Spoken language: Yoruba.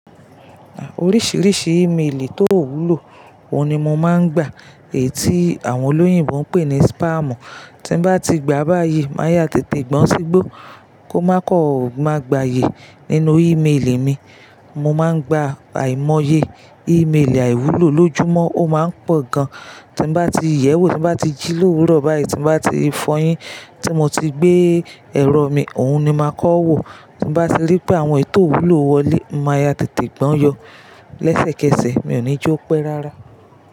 À, oríṣìíríṣìí email tó wúlò, òun ni mo máa ń gbà. Èyí tí àwọn olóyìnbo ń pè ní spam. Tí n bá ti gba báyìí, máa yá tètè gbán sígbó, kó má kọ ọ má gbàyè nínú email mi. Mo máa ń gba àìmọye email àìwúlò lójúmọ́, ó máa ń pọ̀ gan. Tí n bá ti yẹwo, tí n bá ti jí lówurọ̀ báyìí, tí n bá ti fọyín, tí mo ti gbé ẹ̀rọ mi, òun ni màá kọ́ wò. Tí n bá ti ri pé àwọn èyi tio wúlò wọlé, màá yá tètè gbán yọ. Lẹ́sẹ̀kẹsẹ̀ mi ò ní jo pẹ́ rárá.